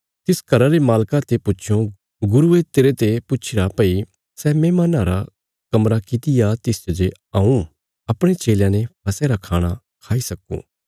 तिस घरा रे मालका ते पुछयों गुरुये तेरते पुछीरा भई सै मेहमान्नां रा कमरा किति आ तिसच जे हऊँ अपणे चेलयां ने फसह रा खाणा खाई सक्कूं